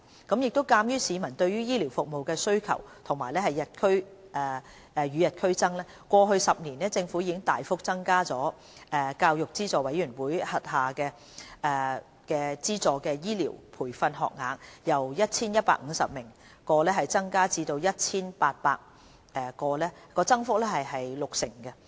鑒於市民對醫療服務的需求與日俱增，過去10年，政府已大幅增加大學教育資助委員會資助的醫療培訓學額，由約 1,150 個增至約 1,800 個，增幅約六成。